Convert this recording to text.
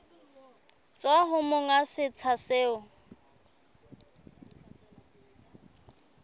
tswa ho monga setsha seo